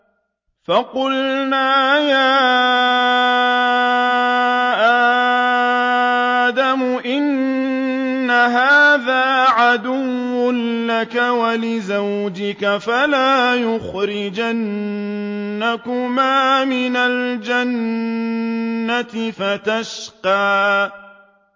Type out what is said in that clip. فَقُلْنَا يَا آدَمُ إِنَّ هَٰذَا عَدُوٌّ لَّكَ وَلِزَوْجِكَ فَلَا يُخْرِجَنَّكُمَا مِنَ الْجَنَّةِ فَتَشْقَىٰ